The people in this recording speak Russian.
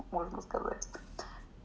можно сказать